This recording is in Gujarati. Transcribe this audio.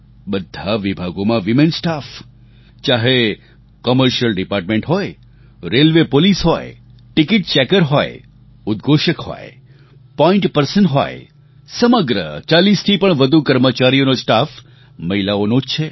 બધા વિભાગોમાં વીમેન સ્ટાફ ચાહે કૉમર્શિયલ ડિપાર્ટમેન્ટ હોય રેલવે પોલીસ હોય ટિકિટ ચેકર હોય ઉદ્ઘોષક હોય પૉઇન્ટ પર્સન હોય સમગ્ર 40થી પણ વધુ કર્મચારીઓનો સ્ટાફ મહિલાઓનો જ છે